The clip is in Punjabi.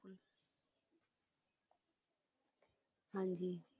ਹਾਂ ਜੀ